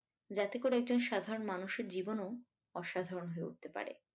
যাতে করে একজন সাধারন মানুষের জীবনও অসাধারন হয়ে উঠতে পারে।